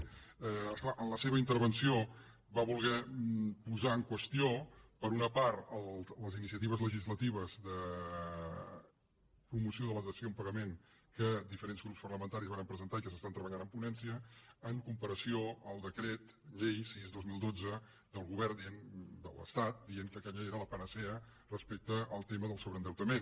és clar en la seva intervenció va voler posar en qüestió per una part les iniciatives legislatives de promoció de la dació en pagament que diferents grups parlamentaris vàrem presentar i que s’estan treballant en ponència en comparació al decret llei sis dos mil dotze del govern de l’estat que deia que aquella era la panacea respecte al tema del sobreendeutament